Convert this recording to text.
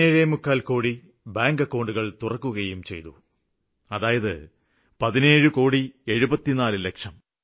74 കോടി ബാങ്ക് അക്കൌണ്ടുകള് തുറന്നിട്ടുണ്ട്